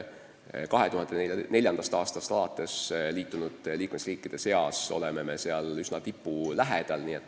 2004. aastal liitunud liikmesriikide seas oleme me üsna tipu lähedal.